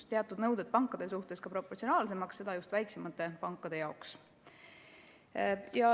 Ka teatud nõuded pankade suhtes muudetakse proportsionaalsemaks, just väiksemate pankade jaoks.